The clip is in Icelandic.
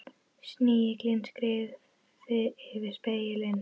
Snigillinn skreið yfir spegilinn.